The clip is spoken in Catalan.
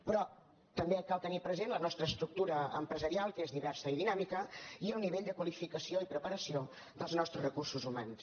però també cal tenir present la nostra estructura empresarial que és diversa i dinàmi·ca i el nivell de qualificació i preparació dels nostres recursos humans